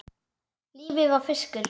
Lífið var fiskur.